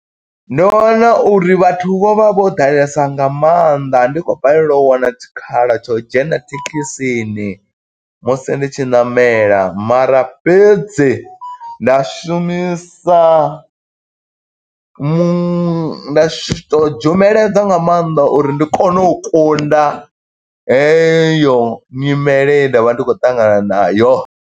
Ndo wana uri vhathu vho vha vho ḓalesa nga maanḓa, ndi khou balelwa u wana tshikhala tsha u dzhena thekhisini musi ndi tshi ṋamela. Mara fhedzi, nda shumisa mu, nda shi to dzhumeledza nga maanḓa uri ndi kone u kunda heyo nyimele i nda vha ndi khou ṱangana nayo.